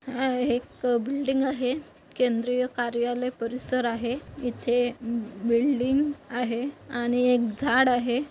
हा एक बिल्डिंग आहे. केंद्रीय कार्यालय परिसर आहे. इथे बिडिंग आहे आणि एक झाड आहे.